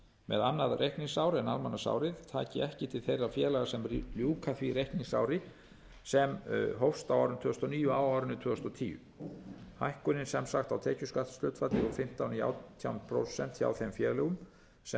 með annað reikningsár en almanaksárið taki ekki til þeirra félaga sem ljúka því reikningsári sem hófst á árinu tvö þúsund og níu á árinu tvö þúsund og tíu hækkunin sem sagt á tekjuskattshlutfalli úr fimmtán í átján prósent hjá þeim félögum sem